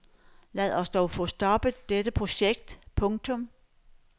Lad os dog få stoppet dette projekt. punktum